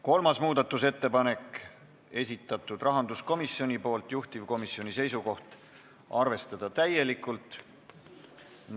Kolmanda muudatusettepaneku on esitanud rahanduskomisjon, juhtivkomisjoni seisukoht: arvestada täielikult.